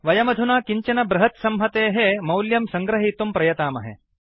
वयमधुना किञ्चन बृहत्संहतेः मौल्यं सङ्गृहीतुं प्रयतामहे